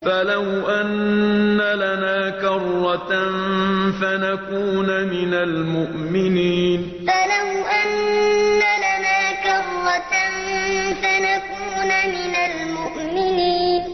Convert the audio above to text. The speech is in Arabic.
فَلَوْ أَنَّ لَنَا كَرَّةً فَنَكُونَ مِنَ الْمُؤْمِنِينَ فَلَوْ أَنَّ لَنَا كَرَّةً فَنَكُونَ مِنَ الْمُؤْمِنِينَ